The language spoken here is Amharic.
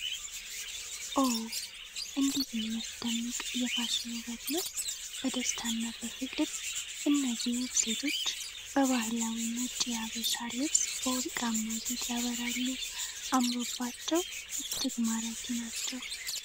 ኦ! እንዴት የሚያስደንቅ የፋሽን ውበት ነው! በደስታና በፍቅር! እነዚህ ውብ ሴቶች በባህላዊ ነጭ የሀበሻ ልብስ በወርቃማ ጌጥ ያበራሉ! አምሮባቸው እጅግ ማራኪ ናቸው!